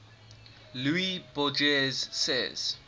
luis borges says